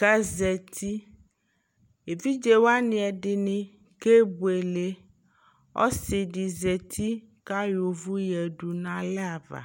kazati evidzewani ɛdini kebuele ɔsidi zati kayɔ uvu yadunalɛ ava